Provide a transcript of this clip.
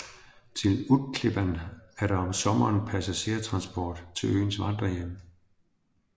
Til Utklippan er der om sommeren passagertransport til øens vandrerhjem